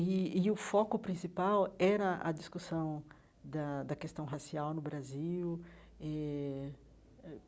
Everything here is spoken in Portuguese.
E e o foco principal era a discussão da da questão racial no Brasil eh eh.